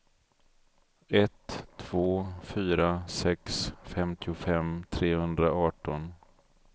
ett två fyra sex femtiofem trehundraarton